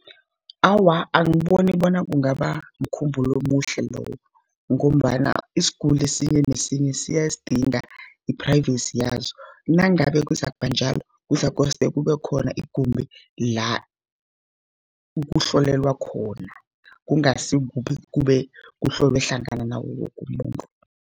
Awa, angiboni bona kungaba mkhumbulo omuhle lowo, ngombana isiguli esinye nesinye siyasidinga iphrayivesi yaso. Nangabe kuzakubanjalo kuzakoste kube khona igumbi la kuhlolelwa khona, kungasi kube kuhlolwe hlangana nawo wokumuntu.